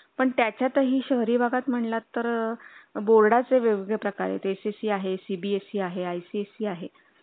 पण त्यातही शहरी भागात म्हणलात तर बोर्डा चे वेगवेगळे प्रकार SSC आहेत ICSE आहे CBSE आहे